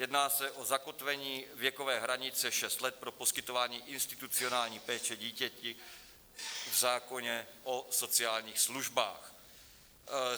Jedná se o zakotvení věkové hranice šest let pro poskytování institucionální péče dítěti v zákoně o sociálních službách.